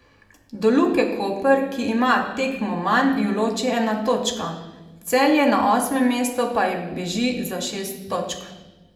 Do Luke Koper, ki ima tekmo manj, jo loči ena točka, Celje na osmem mestu pa ji beži za šest točk.